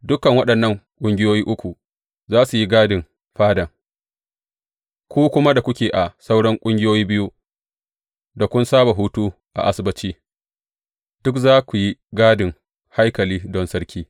Dukan waɗannan ƙungiyoyi uku za su yi gadin fadan, ku kuma da kuke a sauran ƙungiyoyi biyu da kun saba hutu a Asabbaci, duk za ku yi gadin haikali don sarki.